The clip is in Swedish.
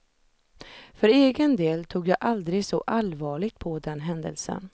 För egen del tog jag aldrig så allvarligt på den händelsen.